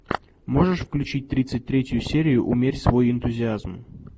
можешь включить тридцать третью серию умерь свой энтузиазм